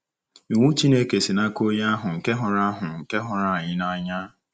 Iwu Chineke si n’aka Onye ahụ nke hụrụ ahụ nke hụrụ anyị n’anya.